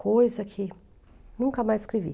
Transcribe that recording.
Coisa que nunca mais escrevi.